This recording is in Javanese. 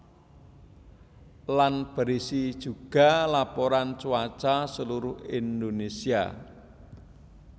Lan berisi juga laporan cuaca seluruh Indonésia